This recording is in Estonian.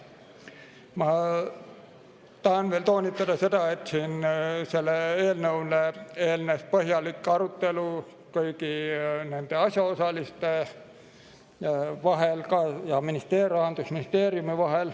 Ma tahan veel toonitada seda, et eelnõule eelnes põhjalik arutelu kõigi asjaosaliste vahel ning Rahandusministeeriumiga.